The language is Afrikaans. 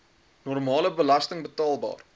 normale belasting betaalbaar